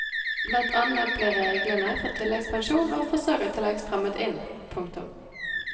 Blant annet ble reglene for tilleggspensjon og forsørgertillegg strammet inn. punktum